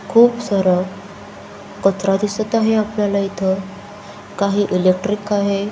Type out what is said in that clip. खूप सार कचरा दिसत आहे आपल्याला इथ काही इलेक्ट्रिक आहे.